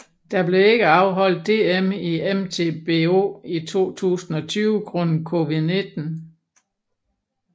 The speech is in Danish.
Der blev ikke afholdt DM i MTBO i 2020 grundet COVID19